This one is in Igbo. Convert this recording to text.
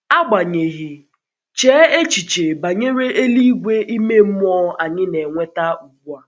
Agbanyeghị, chee echiche banyere eluigwe ime mmụọ anyị na-enweta ugbu a.